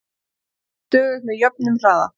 tíminn líður stöðugt með jöfnum hraða